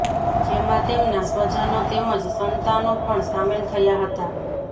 જેમાં તેમના સ્વજનો તેમજ સંતાનો પણ સામેલ થયા હતા